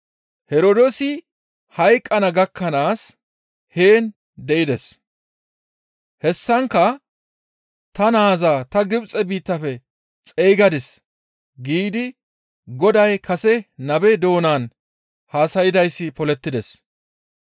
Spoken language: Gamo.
Herdoosi hayqqana gakkanaas heen de7ides. Hessankka, «Ta naaza ta Gibxe biittafe xeygadis» giidi Goday kase nabe doonan haasaydayssi polettides.